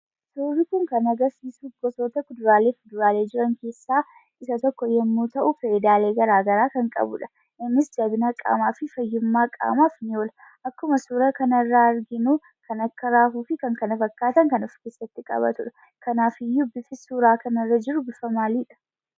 Suurri kun kan agarsiisu, gosoota kuduraalee fi muduraalee jiran keessa isa tokko yemmu ta'u, faayidalee garaagaraa kan qabuudha. Innis jabina qaamaa fi fayyumma qaamaf ni oola. Akkuma suuraa kanarraa arginu, kan akka raafuu fi kkf kan of keessatti qabatuudha.